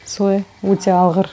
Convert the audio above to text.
солай өте алғыр